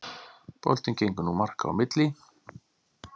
Boltinn gengur nú marka á milli